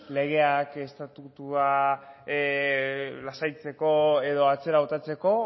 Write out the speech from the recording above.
legeak estatutua lasaitzeko edo atzera botatzeko